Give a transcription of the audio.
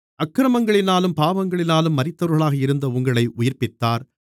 அக்கிரமங்களினாலும் பாவங்களினாலும் மரித்தவர்களாக இருந்த உங்களை உயிர்ப்பித்தார்